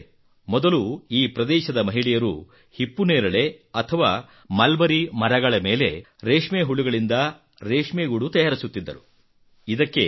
ಸ್ನೇಹಿತರೇ ಮೊದಲು ಈ ಪ್ರದೇಶದ ಮಹಿಳೆಯರು ಹಿಪ್ಪನೇರಳೆ ಅಥವಾ ಮಲ್ಬರಿ ಮರಗಳ ಮೇಲೆ ರೇಷ್ಮೆ ಹುಳುಗಳಿಂದ ರೇಷ್ಮೆಗೂಡು ತಯಾರಿಸುತ್ತಿದ್ದರು